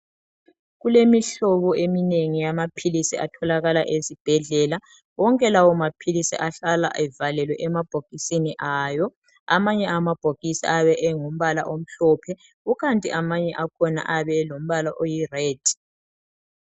Kulemihlobo eminengi yamaphilisi atholakala ezibhedlela. Wonke lawomaphilisi, ahlala evalekwe emabhokisi awo, Amanye alawomabhokisi ayabe engumbala omhlophe. Kukanti amanye akhona, ayabe engumbala oyired.